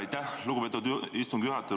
Aitäh, lugupeetud istungi juhataja!